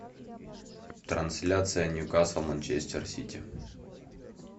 трансляция ньюкасл манчестер сити